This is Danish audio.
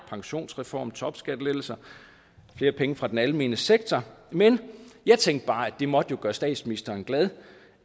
pensionsreform topskattelettelser flere penge fra den almene sektor men jeg tænkte bare at det jo måtte gøre statsministeren glad